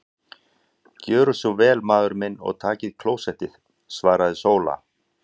Gjörið þér svo vel maður minn og takið klósettið, svaraði Sóla.